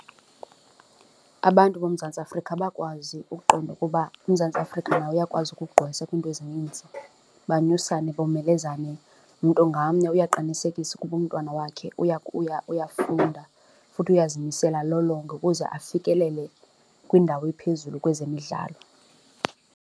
Abantu boMzantsi Afrika bakwazi ukuqonda ukuba uMzantsi Afrika uyakwazi ukugqwesa kwiinto ezininzi, banyusane, bomelezane mntu ngamnye uyaqinisekisa ukuba umntwana wakhe uyafunda futhi uyazimisela alolonge ukuze afikelele kwindawo ephezulu kwezemidlalo.